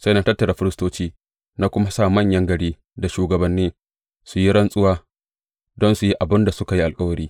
Sai na tattara firistoci na kuma sa manyan gari da shugabanni su yi rantsuwa don su yi abin da suka yi alkawari.